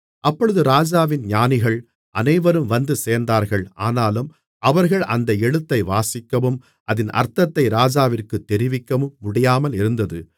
அப்பொழுது ராஜாவின் ஞானிகள் அனைவரும் வந்துசேர்ந்தார்கள் ஆனாலும் அவர்கள் அந்த எழுத்தை வாசிக்கவும் அதின் அர்த்தத்தை ராஜாவிற்குத் தெரிவிக்கவும் முடியாமலிருந்தது